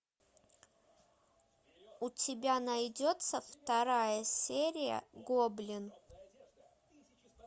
у тебя найдется вторая серия гоблин